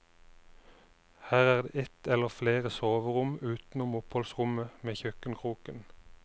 Her er det et eller flere soverom utenom oppholdsrommet med kjøkkenkroken.